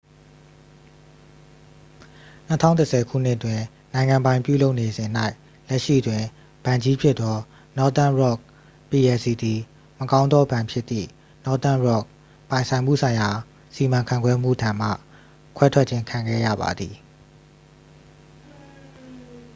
၂၀၁၀ ခုနှစ်တွင်၊ နိုင်ငံပိုင်ပြုလုပ်နေစဉ်၌၊ လက်ရှိတွင် ဘဏ်ကြီးဖြစ်သော northern rock plc သည် 'မကောင်းသောဘဏ်'ဖြစ်သည့် northern rock ပိုင်ဆိုင်မှုဆိုင်ရာစီမံခန့်ခွဲမှု ထံမှ ခွဲထွက်ခြင်း ခံခဲ့ရပါသည်။